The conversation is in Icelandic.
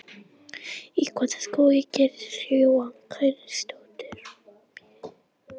Í hvaða skógi gerist Ronja ræningjadóttir?